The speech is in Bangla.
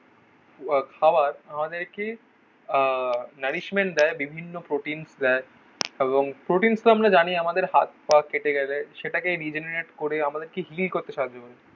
খাবার আমাদেরকে আহ নারিশমেন্ট দেয় বিভিন্ন প্রোটিনস দেয় এবং প্রোটিনস তো আমরা জানি আমাদের হাত পা কেটে গেলে. সেটাকে রিজেনারেট করে আমাদেরকে হিল করতে সাহায্য করে.